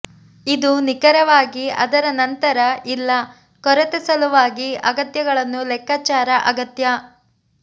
ಇದು ನಿಖರವಾಗಿ ಅದರ ನಂತರ ಇಲ್ಲ ಕೊರತೆ ಸಲುವಾಗಿ ಅಗತ್ಯಗಳನ್ನು ಲೆಕ್ಕಾಚಾರ ಅಗತ್ಯ